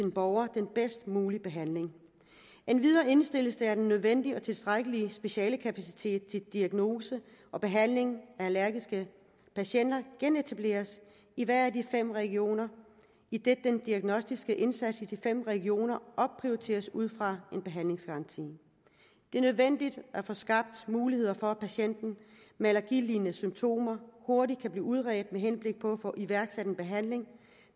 borgere den bedst mulige behandling endvidere indstilles det at den nødvendige og tilstrækkelige specialekapacitet til diagnose og behandling af allergiske patienter genetableres i hver af de fem regioner idet den diagnostiske indsats i de fem regioner opprioriteres ud fra en behandlingsgaranti det er nødvendigt at få skabt muligheder for at patienten med allergilignende symptomer hurtigt kan blive udredt med henblik på at få iværksat en behandling